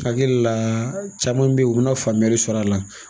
Hakili la caman bɛ ye u bɛ na faamuyali sɔrɔ a la.